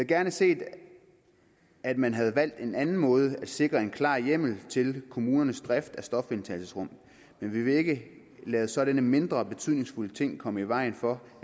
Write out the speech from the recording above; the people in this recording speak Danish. gerne set at man havde valgt en anden måde at sikre en klar hjemmel til kommunernes drift af stofindtagelsesrum men vi vil ikke lade sådanne mindre betydningsfulde ting komme i vejen for